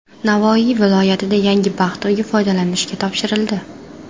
Navoiy viloyatida yangi baxt uyi foydalanishga topshirildi.